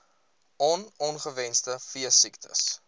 on ongewenste veesiektes